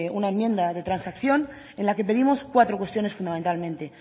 una enmienda de transacción en la que pedimos cuatro cuestiones fundamentalmente